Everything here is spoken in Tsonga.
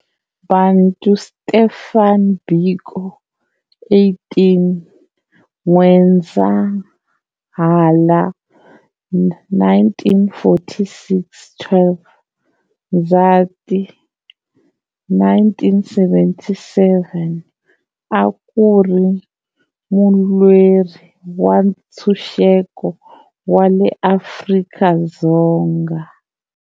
Bantu Stephen Biko, 18 N'wendzamhala 1946-12 Ndzhati 1977, akuri mulweri wa nthsuxeko wa le Afrika-Dzonga.